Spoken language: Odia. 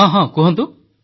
ହଁ ହଁ ପଚାରନ୍ତୁ